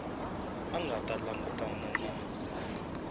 a nga ta langutana na